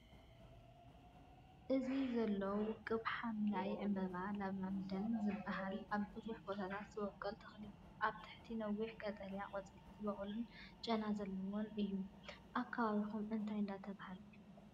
እዚ ዘሎ ውቁብ ሐምላይ ዕምባባታት ላቫንደር ዝበሃል ኣብ ብዙሕ ቦታታት ዝበቁል ተኽሊ እዩ። ኣብ ትሕቲ ነዊሕ ቀጠልያ ቆጽሊ ዝበቁሉን ጨና ዘለዎምን እዮም። ኣብ ከባቢኩም እንታይ እንዳተባሃለ ይፍለጥ?